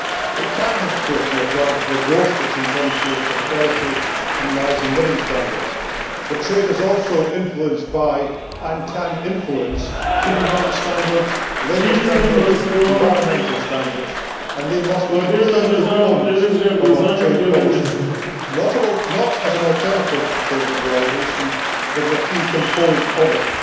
It can of course be a driver for growth, which in turn fuels prosperity and rising living standards, but trade is also influenced by, and can influence, human rights standards, labour standards, environmental standards, and they must be key components of our trade policy, not as an alternative to trade liberalisation but as a key component of it.